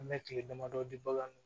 An bɛ kile damadɔ di bagan ma